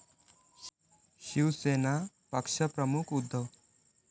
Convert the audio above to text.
शिवसेना पक्षप्रमुख उद्धव